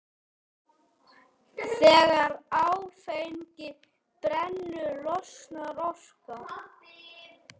Þegar áfengi brennur losnar orka.